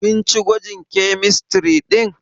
Kin ci gwajin kemistiri ɗin?